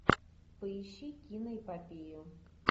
поищи киноэпопею